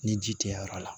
Ni ji tɛ yɔrɔ la